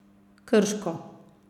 Krško.